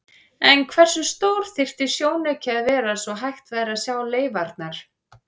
En hversu stór þyrfti sjónauki að vera svo hægt væri að sjá leifarnar?